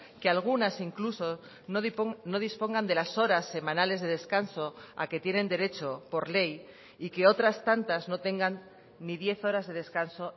que algunas incluso no dispongan de las horas semanales de descanso a que tienen derecho por ley y que otras tantas no tengan ni diez horas de descanso